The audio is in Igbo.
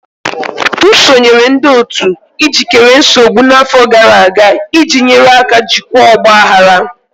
M sonyeere ndị otu ijikere nsogbu n'afọ gara aga iji nyere aka jikwaa ọgba aghara.